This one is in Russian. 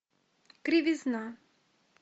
кривизна